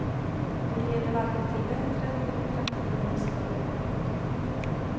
Det leder varken till bättre demokrati eller större effektivitet.